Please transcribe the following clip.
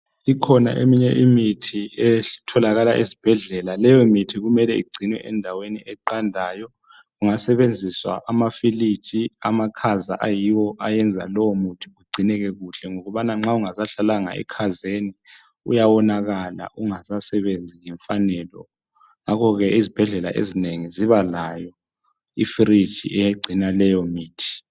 Ikhona eminye imithi etholakala ezibhedlela. Leyo mithi kumele igcinwe endaweni eqandayo. Kungasebenziswa amafiliji , amakhaza ayiwo ayenza lowo muthi igcineke kuhle ngokubana nxa ungsahlalanga ekhazeni uyawonakala ungasasebenzi ngemfanelo. Ngakho ke izibhedlela ezinengi zibalayo ifridge egcina leyo mithi.